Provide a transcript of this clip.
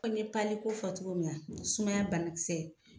Ko ni ye ko fɔ cogo min na ,sumaya banakisɛ